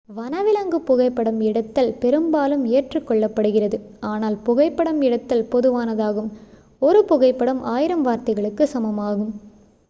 வனவிலங்கு புகைப்படம் எடுத்தல் பெரும்பாலும் ஏற்றுக் கொள்ளப்படுகிறது ஆனால் புகைப்படம் எடுத்தல் பொதுவானதாகும் ஒரு புகைப்படம் ஆயிரம் வார்த்தைகளுக்கு சமமாகும்